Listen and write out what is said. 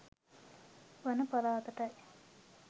වන පළාතටයි.